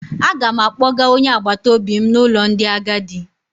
Aga m akpọga onye agbataobi m n'ụlọ ndị agadi.